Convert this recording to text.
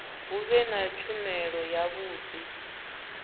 hu vhe na tshumelo yavhudi